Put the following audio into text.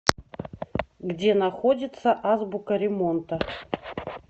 где находится азбука ремонта